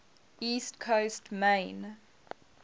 east coast maine